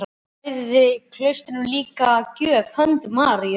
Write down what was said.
Hann færði klaustrinu líka að gjöf hönd Maríu